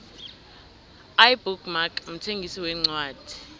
ibook mark mthengisi wencwadi